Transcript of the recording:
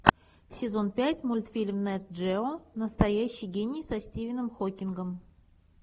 сезон пять мультфильм нэт джео настоящий гений со стивеном хокингом